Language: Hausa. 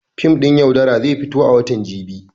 Fim ɗin "Yaudara" zai fito a watan jibi.